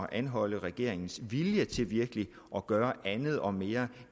at anholde regeringens vilje til virkelig at gøre andet og mere